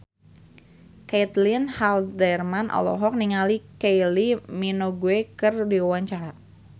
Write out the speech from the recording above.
Caitlin Halderman olohok ningali Kylie Minogue keur diwawancara